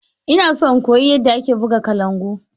Ina so in koyi yadda ake buga kalangu.